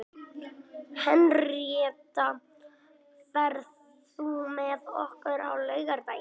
Henríetta, ferð þú með okkur á laugardaginn?